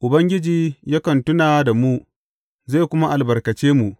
Ubangiji yakan tuna da mu zai kuma albarkace mu.